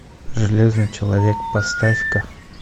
железный человек поставь ка